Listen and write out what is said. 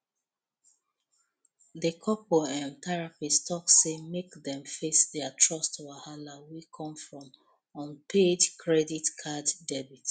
the couple um therapist talk say make dem face their trust wahala wey come from unpaid credit card debt